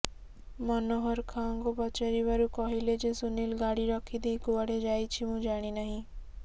ମନୋହର ଖାଁଙ୍କୁ ପଚାରିବାରୁ କହିଲେ ଯେ ସୁନୀଲ ଗାଡ଼ି ରଖିଦେଇ କୁଆଡ଼େ ଯାଇଛି ମୁଁ ଜାଣିନାହିଁ